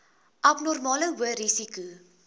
abnormale hoë risiko